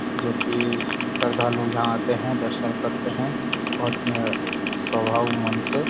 जो कि श्रद्धालु यहाँ आते हैं दर्शन करते हैं बहुत ही स्वभाव मन से।